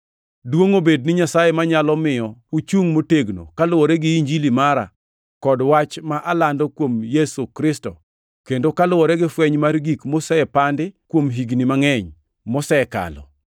Duongʼ obed ni Nyasaye manyalo miyo uchung motegno kaluwore gi Injili mara kod wach ma alando kuom Yesu Kristo kendo kaluwore gi fweny mar gik mosepandi kuom higni mangʼeny mosekalo,